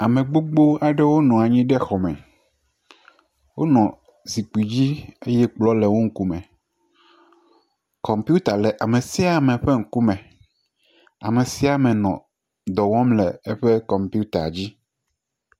Ame gbogbo aɖewo nɔ anyi ɖe xɔ me, wo nɔ zikpui dzi eye kplɔ le woƒe ŋkume. Kɔmpita le ame sia ame ƒe ŋkume. Ame sia ame nɔ dɔ wɔm le eƒe kɔmputa dzi.